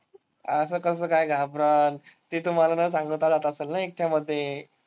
असं कसं काय घाबरंल? ती तुम्हाला न सांगता असंल ना एकट्यामध्ये.